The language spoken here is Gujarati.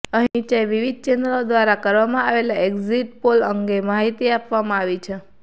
અહીં નીચે વિવિધ ચેનલો દ્વારા કરવામાં આવેલા એક્ઝિટ પોલ અંગે માહિતી આપવામાં આવી છે